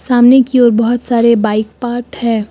सामने की ओर बहुत सारे बाइक पार्क है।